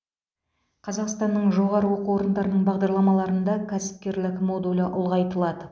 қазақстанның жоғары оқу орындарының бағдарламаларында кәсіпкерлік модулі ұлғайтылады